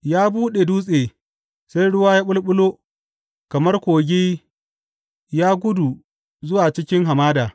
Ya buɗe dutse, sai ruwa ya ɓulɓulo, kamar kogi ya gudu zuwa cikin hamada.